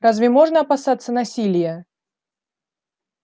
разве можно опасаться насилия